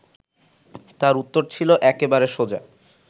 তার উত্তর ছিল একেবারে সোজা